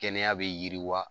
Kɛnɛya be yiriwa